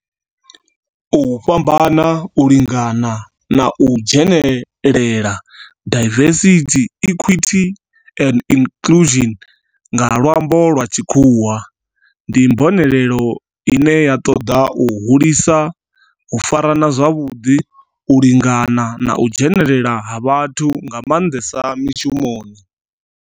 U fhambana, u lingana na u dzhenelela, diversity, equity and inclusion nga lwambo lwa tshikhuwa, ndi mbonelelo ine ya toda u hulisa u farana zwavhudi, u lingana na u dzhenelela ha vhathu nga mandesa mishumoni.